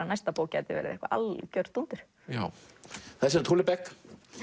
næsta bók gæti verið eitthvað algjört dúndur það er Houellebecq